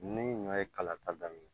Ni ɲɔ ye kala ta daminɛ